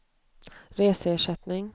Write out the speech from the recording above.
reseersättning